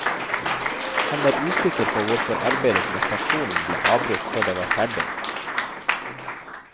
Han er usikker på hvorfor arbeidet med stasjonen ble avbrutt før det var ferdig.